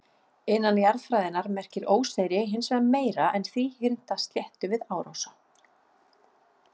Innan jarðfræðinnar merkir óseyri hins vegar meira en þríhyrnda sléttu við árósa.